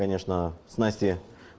конечно с настей